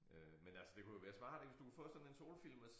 Øh men altså det kunne jo være smart ik hvis du kunne få sådan en solfilm at